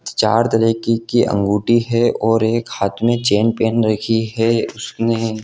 चार तरके की अंगूठी है और एक हाथ में चैन पेन रखी है उसने।